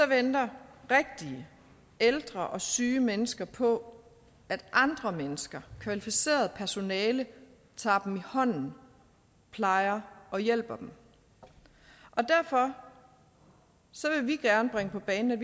venter rigtige ældre og syge mennesker på at andre mennesker kvalificeret personale tager dem i hånden plejer og hjælper dem derfor vil vi gerne bringe på bane at